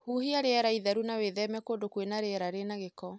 Hũhia rĩera itheru na wĩtheme na kũndũ kwĩna rĩera rĩna gĩko.